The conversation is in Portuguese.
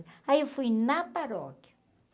Aí eu fui na paróquia.